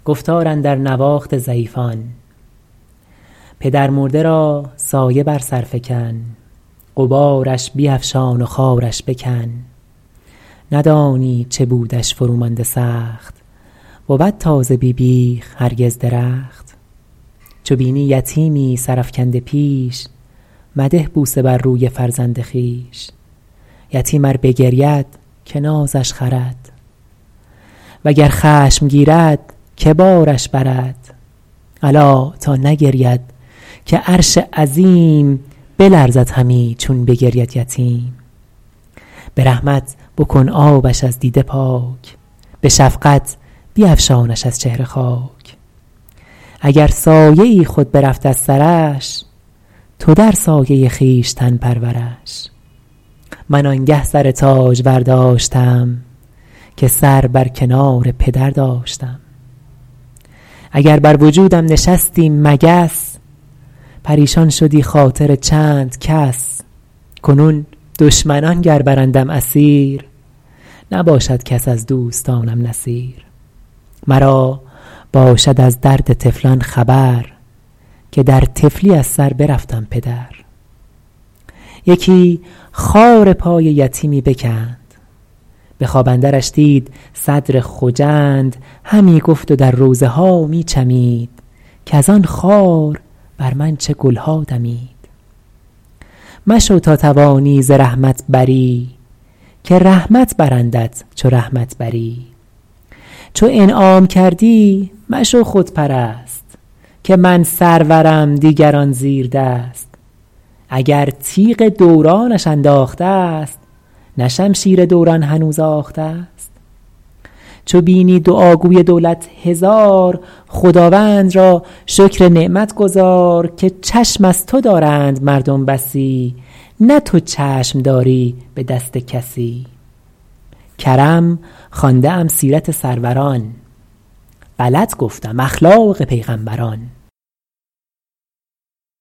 پدرمرده را سایه بر سر فکن غبارش بیفشان و خارش بکن ندانی چه بودش فرو مانده سخت بود تازه بی بیخ هرگز درخت چو بینی یتیمی سر افکنده پیش مده بوسه بر روی فرزند خویش یتیم ار بگرید که نازش خرد وگر خشم گیرد که بارش برد الا تا نگرید که عرش عظیم بلرزد همی چون بگرید یتیم به رحمت بکن آبش از دیده پاک به شفقت بیفشانش از چهره خاک اگر سایه خود برفت از سرش تو در سایه خویشتن پرورش من آنگه سر تاجور داشتم که سر بر کنار پدر داشتم اگر بر وجودم نشستی مگس پریشان شدی خاطر چند کس کنون دشمنان گر برندم اسیر نباشد کس از دوستانم نصیر مرا باشد از درد طفلان خبر که در طفلی از سر برفتم پدر یکی خار پای یتیمی بکند به خواب اندرش دید صدر خجند همی گفت و در روضه ها می چمید کز آن خار بر من چه گلها دمید مشو تا توانی ز رحمت بری که رحمت برندت چو رحمت بری چو انعام کردی مشو خودپرست که من سرورم دیگران زیردست اگر تیغ دورانش انداخته ست نه شمشیر دوران هنوز آخته ست چو بینی دعاگوی دولت هزار خداوند را شکر نعمت گزار که چشم از تو دارند مردم بسی نه تو چشم داری به دست کسی کرم خوانده ام سیرت سروران غلط گفتم اخلاق پیغمبران